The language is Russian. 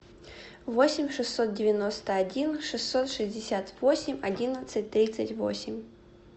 восемь шестьсот девяносто один шестьсот шестьдесят восемь одиннадцать тридцать восемь